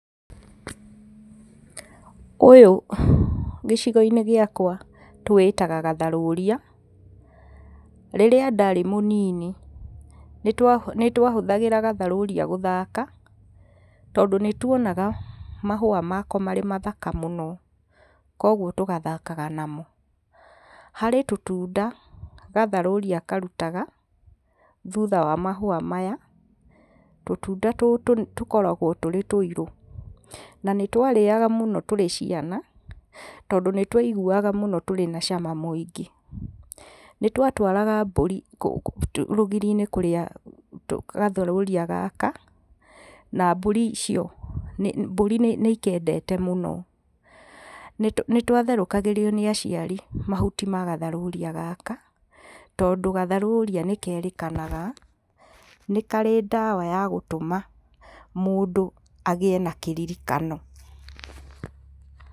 Ũyũ gĩcigo-inĩ gĩakwa tũwĩtaga gatharũria. Rĩrĩa ndarĩ mũnini nĩtwahũthagĩra gatharũria gũthaka, tondũ nĩtuonaga mahũa mako marĩ mathaka mũno kuoguo tũgathakaga namo. Harĩ tũtunda gatharũria karutaga thutha wa mahũa maya tũtunda tũtũ tũkoragwo tũrĩ tũirũ. Na nĩtwarĩaga mũno tũrĩ ciana tondũ nĩtwaiguaga mũno tũrĩ cama mũingĩ. Nĩtwatwaraga mbũri rũgiri-inĩ kũrĩa gatharũria gaka na mbũri icio, mbũri nĩikendete mũno. Nĩtwatherũkagĩrio nĩ aciari mahuti ma gatharũria gaka, tondũ gatharũria nĩkerĩkanaga nĩ karĩ ndawa ya gũtũma mũndũ agĩe na kĩririkano.